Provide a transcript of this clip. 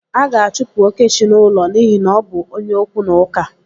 A ga-achụpụ Okechi n'ụlọ n'ihi na ọ bụ onye okwu na ụka.